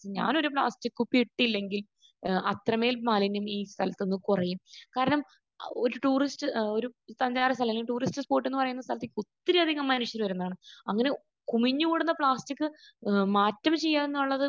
ഇപ്പോൾ ഞാനൊരു പ്ലാസ്റ്റിക് കുപ്പി ഇട്ടില്ലെങ്കിൽ ഏഹ് അത്രമേൽ മാലിന്യം ഈ സ്ഥലത്ത് നിന്ന് കുറയും. കാരണം ഒരു ടൂറിസ്റ്റ് ഏഹ് ഒരു ടൂറിസ്റ്റ് സ്പോട് എന്ന് പറയുന്ന സ്ഥലത്ത് ഒത്തിരിയധികം മനുഷ്യർ വരുന്നതാണ്. അങ്ങനെ കുമിഞ്ഞുകൂടുന്നു പ്ലാസ്റ്റിക് ഏഹ് മാറ്റം ചെയ്യുകയെന്നുള്ളത്